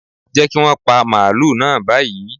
Jẹ́ kí wọn pa màálù náà báyìí.